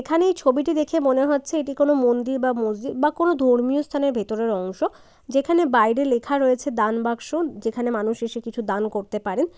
এখানে এই ছবিটি দেখে মনে হচ্ছে এটি কোন মন্দির বা মসজিদ বা কোন ধর্মীয় স্থানের ভেতরের অংশ যেখানে বাইরে লেখা রয়েছে দান বাক্স যেখানে মানুষ এসে কিছু দান করতে পারেন।